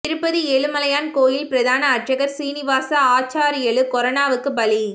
திருப்பதி ஏழுமலையான் கோயிலின் பிரதான அர்ச்சகர் சீனிவாச ஆச்சார்யலு கொரோனாவுக்கு பலி